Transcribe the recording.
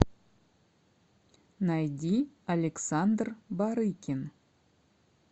найди александр барыкин